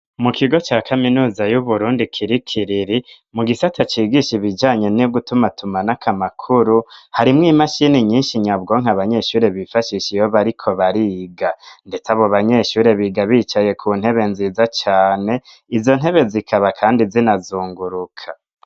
Mu kigo ca kaminuza yu Burundi kiri ikiriri mu gisata cigisha ibijanye no gutuma tumanako amakuru harimwo imashini nyishi nyabwonko abanyeshure bifashisha iyo bariko bariga, ndetse abo banyeshure biga bicaye ku ntebe nziza cane izo ntebe zikaba kandi zinazunguruka.